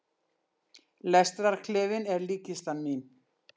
Lestarklefinn er líkkistan mín.